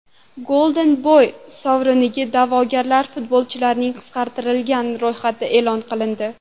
Golden Boy sovriniga da’vogar futbolchilarning qisqartirilgan ro‘yxati e’lon qilindi.